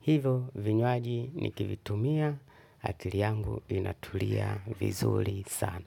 Hivo vinywaji nikivitumia akili yangu inatulia vizuri sana.